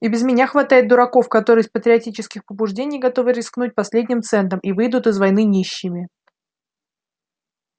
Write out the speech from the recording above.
и без меня хватает дураков которые из патриотических побуждений готовы рискнуть последним центом и выйдут из войны нищими